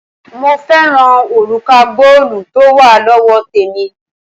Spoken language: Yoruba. Mo fẹ́ràn òrùka góòlù tó wà lọ́wọ́ témì,